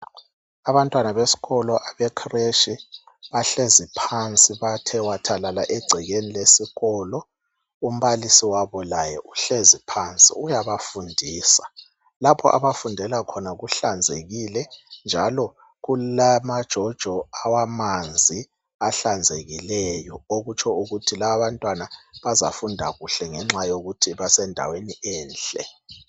Abantwana besikolo abecreshi bahlezi phansi. Bathe wathalala egcekeni lesikolo. Umbalisi wabo laye uhlezi phansi, uyabafundisa. Lapha abafundela khona kuhlanzekile, njalo kulamajojo amanzi ahlanzekileyo. Okutsho ukuthi lababantwana bazafunda kuhle ngoba basendaweni enhle.